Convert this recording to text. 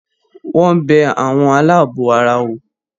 Wọ́n bẹ “ àwọn aláàbọ̀ ara” wò.